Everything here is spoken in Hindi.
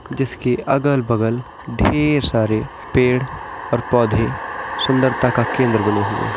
जिसके अगल-बगल ढेर सारे पेड़ और पौधे सुंदरता का केंद्र बने हुए है।